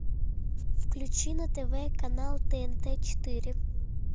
включи на тв канал тнт четыре